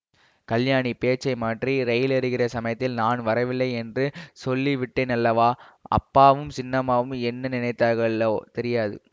கல்யாணி பேச்சை மாற்றி ரயிலேறுகிற சமயத்தில் நான் வரவில்லையென்று சொல்லிவிட்டேனல்லவா அப்பாவும் சின்னம்மாவும் என்ன நினைத்தார்களோ தெரியாது